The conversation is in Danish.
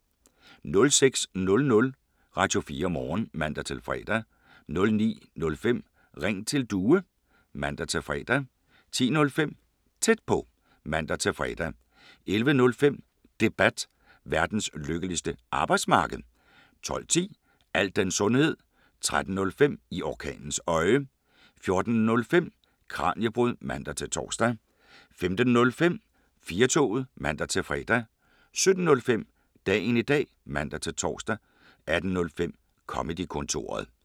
06:00: Radio4 Morgen (man-fre) 09:05: Ring til Due (man-fre) 10:05: Tæt på (man-fre) 11:05: Debat: Verdens lykkeligste arbejdsmarked 12:10: Al den sundhed 13:05: I orkanens øje 14:05: Kraniebrud (man-tor) 15:05: 4-toget (man-fre) 17:05: Dagen i dag (man-tor) 18:05: Comedy-kontoret